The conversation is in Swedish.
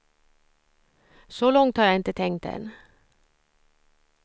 Så långt har jag inte tänkt än.